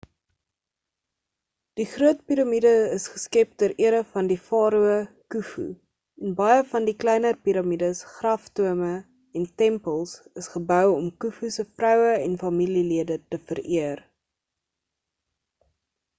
die groot piramiede is geskep ter ere van die farao khufu en baie van die kleiner piramides graftombes en tempels is gebou om khufu se vroue en familielede te vereer